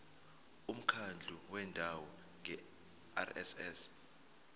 umkhandlu wendawo ngerss